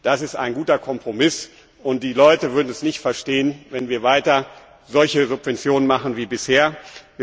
Das ist ein guter Kompromiss, und die Menschen würden es nicht verstehen, wenn wir weiter solche Subventionen wie bisher zahlen.